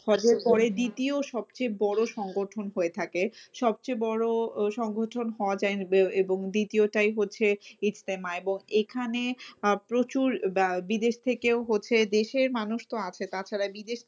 হজের পরে দ্বিতীয় সবচেয়ে বড় সংগঠন হয়ে থাকে। সবচেয়ে বড় সংগঠন হজ এবং দ্বিতীয়টাই হচ্ছে ইস্তেমা এবং এখানে প্রচুর ব~ বিদেশ থেকেও হচ্ছে দেশের মানুষতো আছে তাছাড়া বিদেশ